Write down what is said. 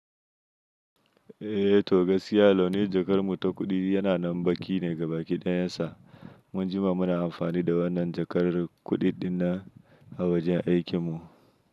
Eh to gaskiya launin jakar mu ta kuɗi yana nan baƙi ne gabaɗaya sa mun jima muna amfani da wannan jakar kuɗiɗin nan a wajen aikin mu.